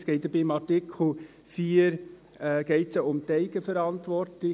Es geht bei Artikel 4 ja um die Eigenverantwortung.